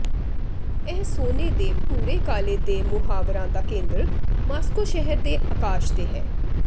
ਇਹ ਸੋਨੇ ਦੇ ਭੂਰੇ ਕਾਲੇ ਦੇ ਮੁਹਾਵਰਾ ਦਾ ਕੇਂਦਰ ਮਾਸਕੋ ਸ਼ਹਿਰ ਦੇ ਅਕਾਸ਼ ਤੇ ਹੈ